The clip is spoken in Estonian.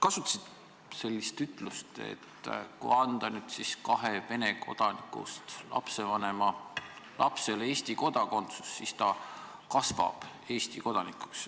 Kasutasid sellist ütlust, et kui anda kahe Vene kodanikust lapsevanema lapsele Eesti kodakondsus, siis ta kasvab Eesti kodanikuks.